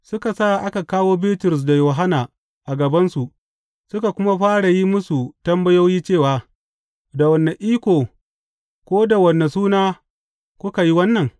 Suka sa aka kawo Bitrus da Yohanna a gabansu suka kuma fara yin musu tambayoyi cewa, Da wane iko ko da wane suna kuka yi wannan?